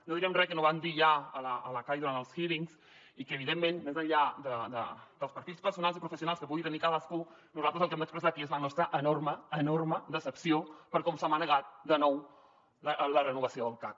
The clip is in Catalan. no direm res que no vam dir ja a la cai durant els hearings i que evidentment més enllà dels perfils personals i professionals que pugui tenir cadascú nosaltres el que hem d’expressar aquí és la nostra enorme enorme decepció per com s’ha manegat de nou la renovació del cac